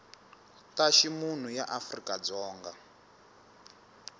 ta ximunhu ya afrika dzonga